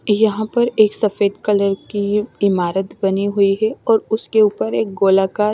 यहाँ पर एक सफेद कलर की इमारत बनी हुई है और उसके ऊपर एक गोला आकार--